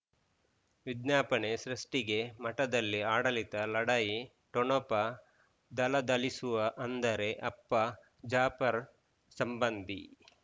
ವಿಜ್ಞಾಪನೆ ಸೃಷ್ಟಿಗೆ ಮಠದಲ್ಲಿ ಆಡಳಿತ ಲಢಾಯಿ ಠೊಣಪ ಧಳಧಳಿಸುವ ಅಂದರೆ ಅಪ್ಪ ಜಾಫರ್ ಸಂಬಂಧಿ